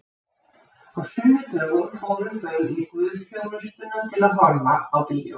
Á sunnudögum fóru þau í guðsþjónustuna til að horfa á bíó.